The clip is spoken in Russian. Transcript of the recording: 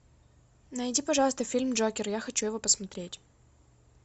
найди пожалуйста фильм джокер я хочу его посмотреть